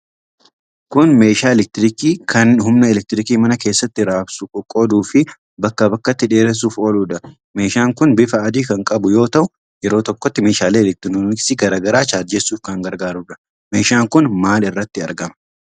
Kun meeshaa elektirikii kan humna elektirikii mana keessatti raabsuu, qoqqooduufi bakka bakkatti dheeressuuf ooludha. Meeshaan kun bifa adii kan qabu yoo ta'u yeroo tokkotti meeshaalee elektirooniksii garaa gara chaarjessuuf kan gargaarudha. Meeshaan kun maal irratti argama?